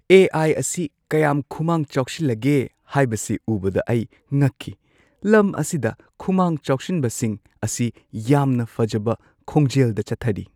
ꯑꯦ. I. ꯑꯁꯤ ꯀꯌꯥꯝ ꯈꯨꯃꯥꯡ ꯆꯥꯎꯁꯤꯜꯂꯒꯦ ꯍꯥꯏꯕꯁꯤ ꯎꯕꯗ ꯑꯩ ꯉꯛꯈꯤ꯫ ꯂꯝ ꯑꯁꯤꯗ ꯈꯨꯃꯥꯡ ꯆꯥꯎꯁꯤꯟꯕꯁꯤꯡ ꯑꯁꯤ ꯌꯥꯝꯅ ꯐꯖꯕ ꯈꯣꯡꯖꯦꯜꯗ ꯆꯠꯊꯔꯤ꯫